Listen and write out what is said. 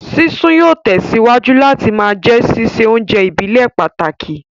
Sísun yóò tẹ̀síwájú láti ma jẹ́ sísè oúnjẹ ìbílẹ̀ pàtàkì